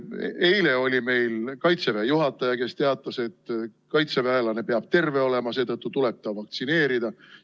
Eile oli meil Kaitseväe juhataja, kes teatas, et kaitseväelane peab terve olema, seetõttu tuleb ta vaktsineerida.